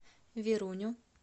веруню